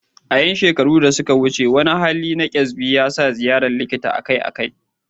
A ƴan shekaru da suka wuce, wani hali na kyasbi yasa ziyarar likita akai-akai.